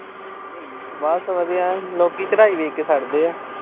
ਬਸ ਵਧੀਆ। ਲੋਕੀਂ ਚੜਾਈ ਵੇਖ ਕੇ ਸੜਦੇ ਆ।